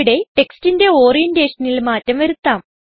ഇവിടെ ടെക്സ്റ്റിന്റെ Orientationൽ മാറ്റം വരുത്താം